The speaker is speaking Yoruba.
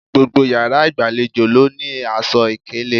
Gbogbo yàrá ìgbàlejò ló ní aṣọ ìkélé